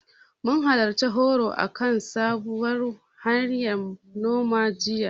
Mun halarci horo akan sabuwar hanyar noma, jiya.